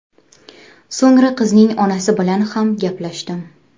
So‘ngra qizning onasi bilan ham gaplashdim.